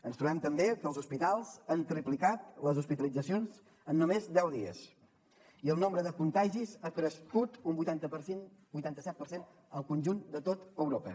ens trobem també que els hospitals han triplicat les hospitalitzacions en només deu dies i el nombre de contagis ha crescut un vuitanta set per cent al conjunt de tot europa